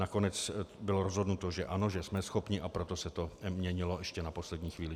Nakonec bylo rozhodnuto, že ano, že jsme schopni, a proto se to měnilo ještě na poslední chvíli.